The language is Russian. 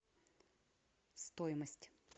стоимость